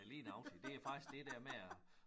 Nej lige nøjagtig det faktisk det der med at